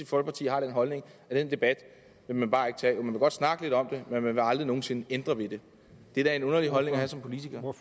folkeparti har den holdning at den debat vil man bare ikke tage man vil godt snakke lidt om det men man vil aldrig nogen sinde ændre ved det det er da en underlig holdning at have som politiker